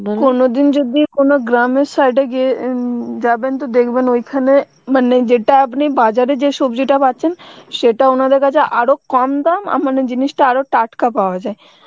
যদি কোনো গ্রাম এর side এ গিয়ে অ্যাঁ যাবেন তো দেখবেন ঐখানে মানে যেটা আপনি বাজারে যে সবজিটা পাচ্ছেন সেটা ওনাদের কাছে আরও কম দাম আ মানে জিনিসটা আরো টাটকা পাওয়া যায়